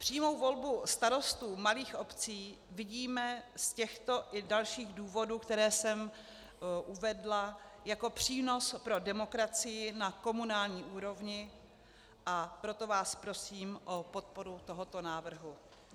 Přímou volbu starostů malých obcí vidíme z těchto i dalších důvodů, které jsem uvedla, jako přínos pro demokracii na komunální úrovni, a proto vás prosím o podporu tohoto návrhu.